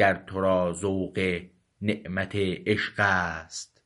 دان گر تو را ذوق نعمت عشق است